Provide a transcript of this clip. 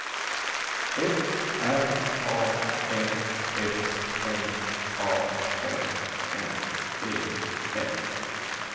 F R A N S M A N N E N